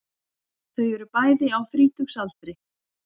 Þau eru bæði á þrítugsaldri